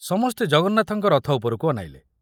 ସମସ୍ତେ ଜଗନ୍ନାଥଙ୍କ ରଥ ଉପରକୁ ଅନାଇଲେ।